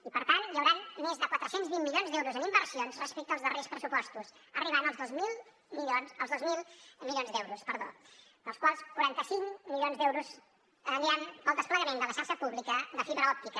i per tant hi hauran més de quatre cents i vint milions d’euros en inversions respecte als darrers pressupostos per arribar als dos mil milions d’euros dels quals quaranta cinc milions d’euros aniran al desplegament de la xarxa pública de fibra òptica